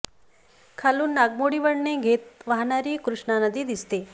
खालून नागमोडी वळणे घेत वाहणारी कृष्णा नदी दिसते